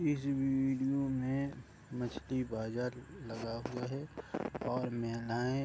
इस वीडियो मे मछली बाजार लगा हुआ है और महिलाएं --